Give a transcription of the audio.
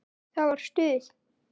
Það var stuð!